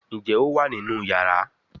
Njé o wá nínú iyàrá?